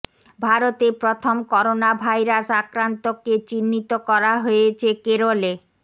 ভারতে প্রথম corona virus আক্রান্তকে চিহ্নিত করা হয়েছে কেরলে